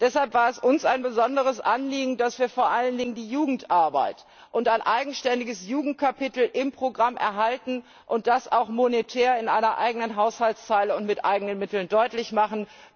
Deshalb war es uns ein besonderes Anliegen, dass wir vor allen Dingen die Jugendarbeit und ein eigenständiges Jugendkapitel im Programm erhalten und das auch monetär in einer eigenen Haushaltszeile und mit eigenen Mitteln deutlich machen.